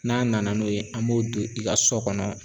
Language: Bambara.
N'a nana n'o ye, an b'o don i ka so kɔnɔ.